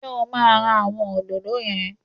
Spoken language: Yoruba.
Ṣé o máa ra àwọn òdòdó yẹn?